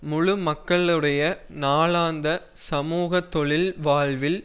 முழு மக்களுடைய நாளாந்த சமூக தொழில் வாழ்வில்